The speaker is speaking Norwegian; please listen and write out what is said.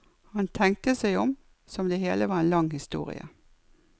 Han tenkte seg om, som det hele var en lang historie.